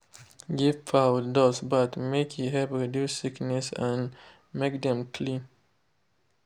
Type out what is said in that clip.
give fowl dust bath make e help reduce sickness and make dem clean.